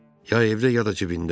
Ya evdə, ya da cibində.